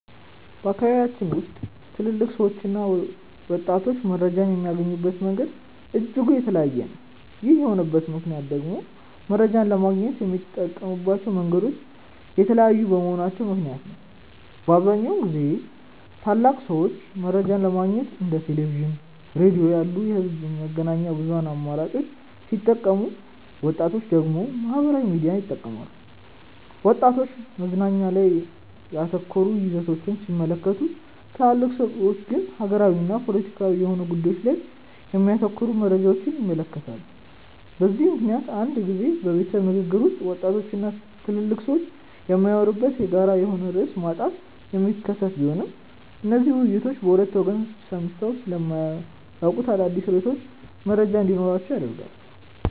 በአካባቢያችን ውስጥ ትልልቅ ሰዎችና ወጣቶች መረጃን የሚያገኙበት መንገድ እጅጉን የተለያየ ነው። ይህ የሆነበት ምክንያት ደግሞ መረጃን ለማግኘት የሚጠቀሙባቸው መንገዶች የተለያዩ በመሆናቸው ምክንያት ነው። በአብዛኛውን ጊዜ ትልልቅ ሰዎች መረጃን ለማግኘት እንደ ቴሌቪዥን፣ ሬዲዮ ያሉ የህዝብ መገናኛ ብዙሃን አማራጮችን ሲጠቀሙ ወጣቶች ደግሞ ማህበራዊ ሚዲያን ይጠቀማሉ። ወጣቶች መዝናኛ ላይ ያተኮሩ ይዘቶችን ሲመለከቱ ትልልቅ ሰዎች ግን ሀገራዊና ፖለቲካዊ የሆኑ ጉዳዮች ላይ የሚያተኩሩ መረጃዎችን ይመለከታሉ። በዚህ ምክንያት አንዳንድ ጊዜ በቤተሰብ ንግግር ውስጥ ወጣቶች እና ትልልቅ ሰዎች የሚያወሩበት የጋራ የሆነ ርዕስ ማጣት የሚከሰት ቢሆንም እነዚህ ውይይቶች በሁለቱ ወገን ሰምተው ስለማያውቁት አዳዲስ ርዕሶች መረጃ እንዲኖራቸው ያደርጋል።